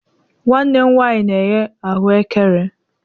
Nwanne m nwanyi na-eghe ahụekere